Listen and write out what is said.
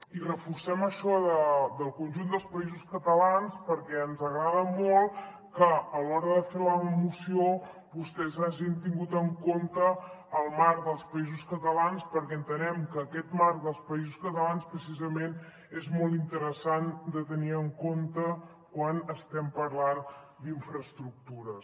i reforcem això del conjunt dels països catalans perquè ens agrada molt que a l’hora de fer la moció vostès hagin tingut en compte el marc dels països catalans perquè entenem que aquest marc dels països catalans precisament és molt interessant de tenir en compte quan estem parlant d’infraestructures